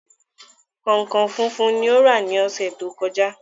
Kọ̀nkọ̀n funfun ni ó rà lọ́sẹ̀ to kọjá.